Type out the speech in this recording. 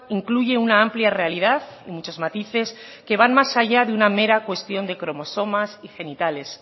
incluye una amplia realidad y muchos matices que van más allá de una mera cuestión de cromosomas y genitales